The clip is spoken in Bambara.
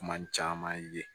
Kuma caman ye